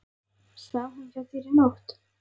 Svaf hún hjá þér í nótt?